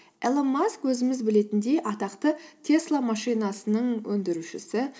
илон маск өзіміз білетіндей атақты тесла машинасының өндірушісі